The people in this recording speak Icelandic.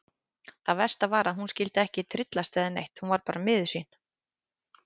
Það versta var að hún skyldi ekki tryllast eða neitt, hún var bara miður sín.